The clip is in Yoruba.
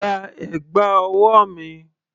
Gba ẹ̀gbà ọwọ́ mi!